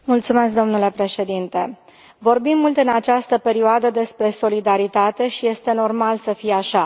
Domnule președinte, vorbim mult în această perioadă despre solidaritate și este normal să fie așa.